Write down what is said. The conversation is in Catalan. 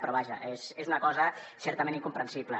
però vaja és una cosa certament incomprensible